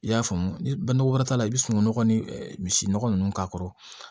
I y'a faamu ni nɔgɔ wɛrɛ t'a la i bɛ sunungun nɔgɔ ni misi nɔgɔ ninnu k'a kɔrɔ